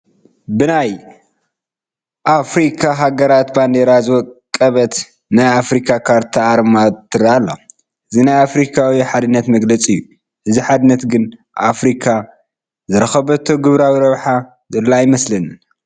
ብናይ ኣፍሪካ ሃገራት ባንዲራ ዝወቀበት ናይ ኣፍሪካ ካርታ ኣርማ ትርአ ኣላ፡፡ እዚ ናይ ኣፍሪካዊ ሓድነት መግለፂ እዩ፡፡ በዚ ሓድነት ግን ኣፍሪካ ዝረኸበቶ ግብራዊ ረብሓ ዘሎ ኣይመስለንን፡፡